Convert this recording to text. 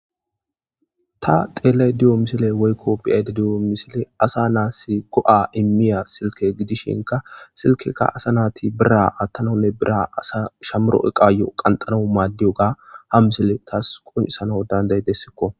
ta xeelay diyo misile woykko biyayde diyo misile asa naasi go7a immiya silke gidishinka silkekka asa naati bira attanonne bira asa shamuro eqaayo qanxano maaddiyoga ha misile taas qonisano danday dessikko